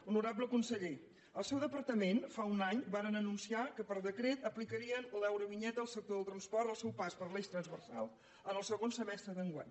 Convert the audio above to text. honorable conseller el seu departament fa un any van anunciar que per decret aplicarien l’eurovinyeta al sector del transport al seu pas per l’eix transversal en el segon semestre d’enguany